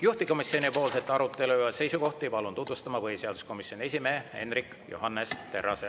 Juhtivkomisjoni arutelu ja seisukohti palun tutvustama põhiseaduskomisjoni esimehe Hendrik Johannes Terrase.